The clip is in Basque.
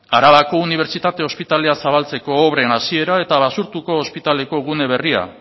arabako unibertsitate ospitalea zabaltzeko obren hasiera eta basurtoko ospitaleko gune berria